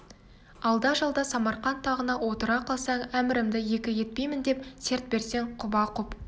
алда-жалда самарқант тағына отыра қалсаң әмірімді екі етпеймін деп серт берсең құба-құп